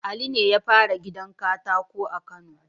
Ali ne yafara gidan katako a kano